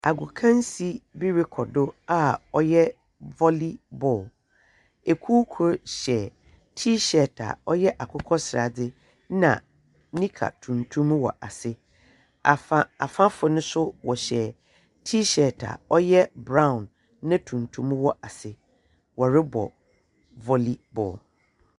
Agokansi bi rokɔ do a ɔyɛ volleyball, kuw kor hyɛ t-shirt a ɔyɛ akokɔsradze na knicker tuntum wɔ ase. Afa afafo no so wɔhyɛ t-shirt a ɔyɛ brown na tuntum wɔ ase, wɔrobɔ volleyball.